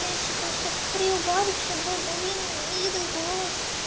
я считаю что приубавить чтобы был более милый голос